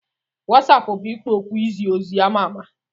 WasaApp bụ ikpo okwu izi ozi ama ama.